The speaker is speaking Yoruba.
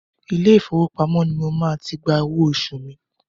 Ilé ìfowópamọ́ ni mo máa ti gba owó oṣù mi.